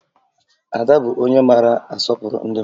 Ada bụ onye maara asọpụrụ ndị mmadụ